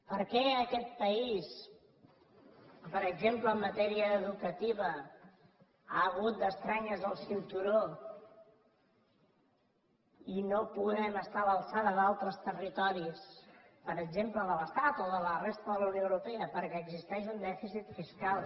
per què aquest país per exemple en matèria educativa ha hagut d’estrènyer·se el cinturó i no podem estar a l’alçada d’altres territoris per exemple de l’estat o de la resta de la unió europea perquè existeix un dèficit fiscal